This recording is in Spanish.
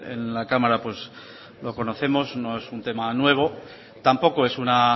en la cámara pues lo conocemos no es un tema nuevo tampoco es una